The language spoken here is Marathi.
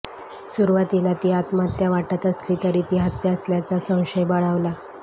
सुरुवातीला ती आत्महत्या वाटत असली तरी ती हत्या असल्याचा संशय बळावला